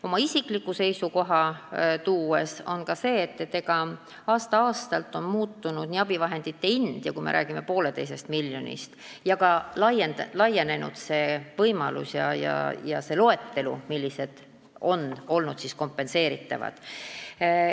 Oma isikliku seisukohana ütlen, et aasta-aastalt on muutunud abivahendite hind – kui me räägime poolteisest miljonist –, on laienenud need võimalused ja pikenenud see loetelu, millised abivahendid on olnud kompenseeritavad.